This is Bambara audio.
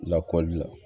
Lakɔli la